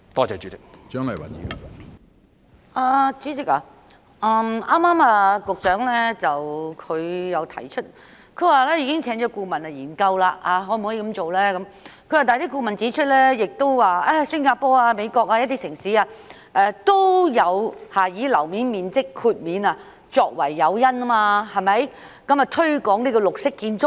主席，局長剛才提及已經聘請顧問研究可否這樣實行，但顧問指出新加坡、美國等地一些城市也有以寬免樓面面積作為誘因，以推廣綠色建築。